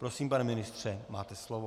Prosím, pane ministře, máte slovo.